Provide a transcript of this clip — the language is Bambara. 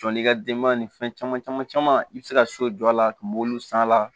Jɔ n'i ka denbaya ni fɛn caman caman caman i bɛ se ka so jɔ a la a kun b'olu san a la